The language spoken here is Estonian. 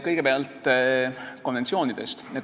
Kõigepealt konventsioonidest.